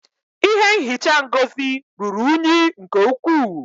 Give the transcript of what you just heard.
Ihe nhicha Ngozi ruru unyi nke ukwuu